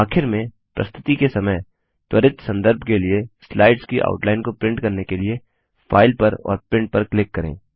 आखिर में प्रस्तुति के समय त्वरित सन्दर्भ के लिए स्लाइड्स की आउटलाइन को प्रिंट करने के लिए फाइल पर और प्रिंट पर क्लिक करें